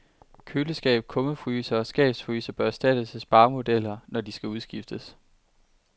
Køleskab, kummefryser og skabsfryser bør erstattes af sparemodeller, når de skal udskiftes.